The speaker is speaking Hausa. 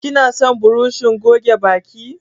Kina son burushin goge bakin?